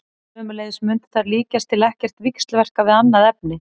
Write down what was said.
Sömuleiðis mundu þær líkast til ekkert víxlverka við annað efni.